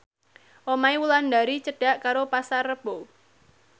omahe Wulandari cedhak karo Pasar Rebo